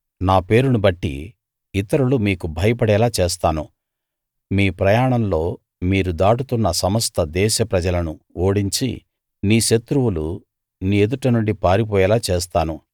నా పేరును బట్టి ఇతరులు మీకు భయపడేలా చేస్తాను మీ ప్రయాణంలో మీరు దాటుతున్న సమస్త దేశ ప్రజలను ఓడించి నీ శత్రువులు నీ ఎదుట నుండి పారిపోయేలా చేస్తాను